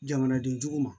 Jamanadenjugu ma